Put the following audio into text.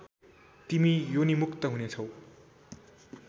तिमी योनिमुक्त हुनेछौ